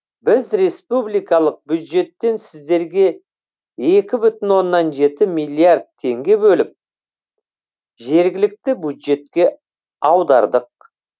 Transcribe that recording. біз республикалық бюджеттен сіздерге екі бүтін оннан жеті миллиард теңге бөліп жергілікті бюджетке аудардық